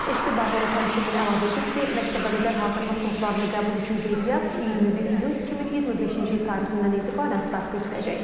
Eşqi Bağırov həmçinin əlavə edib ki, məktəbəqədər hazırlıq qruplarına qəbul üçün qeydiyyat 21 iyun 2025-ci il tarixindən etibarən start götürəcək.